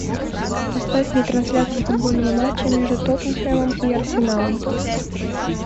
поставь мне трансляцию футбольного матча между тоттенхэмом и арсеналом